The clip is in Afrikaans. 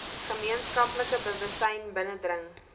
gemeenskaplike bewussyn binnedring